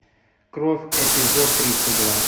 кровь эпизод тридцать два